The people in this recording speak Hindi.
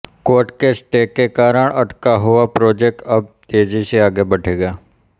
कोर्ट के स्टे के कारण अटका हुआ प्रोजेक्ट अब तेजी से आगे बढ़ेगा